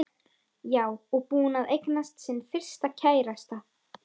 Já, og búin að eignast sinn fyrsta kærasta.